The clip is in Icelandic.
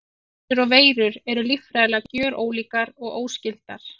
Bakteríur og veirur eru líffræðilega gjörólíkar og óskyldar.